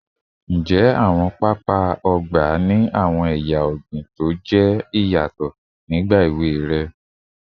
Njẹ awọn papa ọgba ọgba ni awọn eya ọgbin toje nigba ewe rẹ?